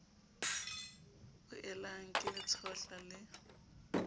boelang ke le tshohla le